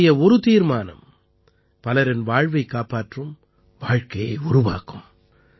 உங்களுடைய ஒரு தீர்மானம் பலரின் வாழ்வைக் காப்பாற்றும் வாழ்க்கையை உருவாக்கும்